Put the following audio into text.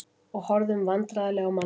Og horfðum vandræðaleg á manneskjuna.